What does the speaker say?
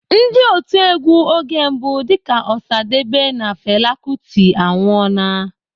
Ndị otiegwu oge mbụ dịka Osadebe na Fela Kuti anwụọla.